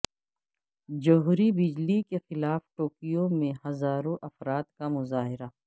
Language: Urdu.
جوہری بجلی کے خلاف ٹوکیو میں ہزاروں افراد کا مظاہرہ